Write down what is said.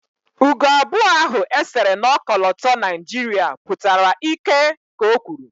Ugo abụọ ahụ e sere na ọkọlọtọ Naijiria pụtara ịkẹ́ ka o kwuru